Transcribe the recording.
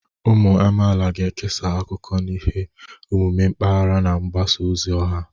Ụmụ amaala ga-ekesa akụkọ na ihe omume mpaghara na mgbasa ozi ọha.